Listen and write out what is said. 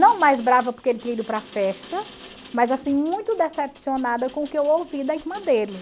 Não mais brava porque ele tinha ido para a festa, mas assim, muito decepcionada com o que eu ouvi da irmã dele.